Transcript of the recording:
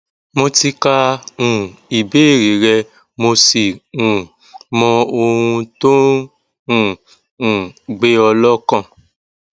mo ti ka um ìbéèrè rẹ mo sì um mọ ohun tó ń um um gbé ọ lọkàn